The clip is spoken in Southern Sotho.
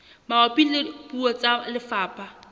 mabapi le puo tsa lefapha